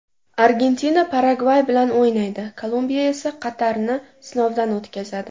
Argentina Paragvay bilan o‘ynaydi, Kolumbiya esa Qatarni sinovdan o‘tkazadi.